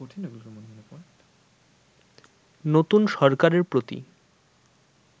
নতুন সরকারের প্রতি